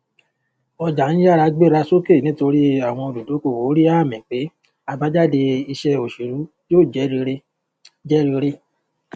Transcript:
ọjà ń yára gbéra sókè nítorí àwọn olùdókòwò rí àmì pé abájáde iṣẹ òṣèlú yóò jẹ rere jẹ rere